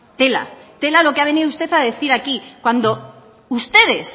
tela tela lo que ha venido usted a decir aquí cuando ustedes